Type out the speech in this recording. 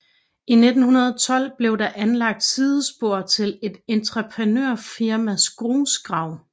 I 1912 blev der anlagt sidespor til et entreprenørfirmas grusgrav